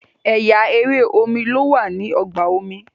ẹyà èrè omí ló wà ní ọgbà omi